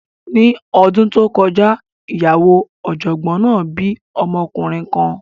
Ní ọdún tó kọjá, ìyàwó ọ̀jọ̀gbọ́n náà bí ọmọkùnrin kan.